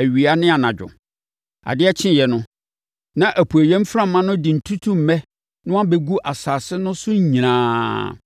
awia ne anadwo. Adeɛ kyeeɛ no, na apueeɛ mframa no de ntutummɛ no abɛgu asase no so nyinaa.